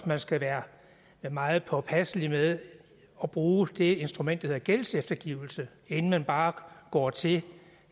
man skal være meget påpasselig med at bruge det instrument der hedder gældseftergivelse inden man bare går til